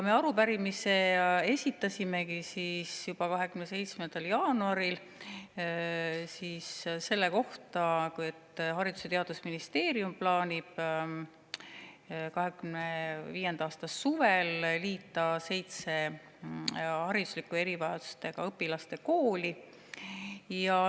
Me esitasime juba 27. jaanuaril selle arupärimise selle kohta, et Haridus‑ ja Teadusministeerium plaanib 2025. aasta suvel liita seitse hariduslike erivajadustega õpilaste kooli.